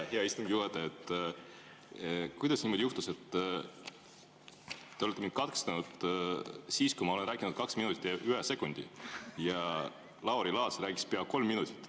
Hea istungi juhataja, kuidas niimoodi juhtus, et te olete mind katkestanud siis, kui ma olen rääkinud kaks minutit ja ühe sekundi, aga Lauri Laats rääkis pea kolm minutit?